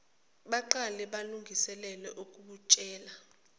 baqale balungiselele ukutshela